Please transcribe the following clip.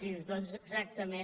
sí doncs exactament